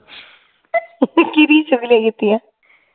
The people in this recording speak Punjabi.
ਕਿਹਦੀ ਚੁਗਲੀਆਂ ਕੀਤੀਆਂ